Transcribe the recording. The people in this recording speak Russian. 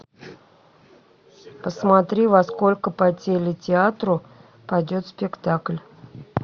посмотри во сколько по телетеатру пойдет спектакль